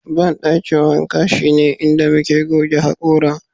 bandakin wanka shine inda muke goge hakora